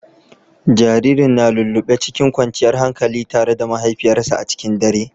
Jaririn na lullube cikin kwanciyar hankali tare da mahaifiyarsa a cikin dare.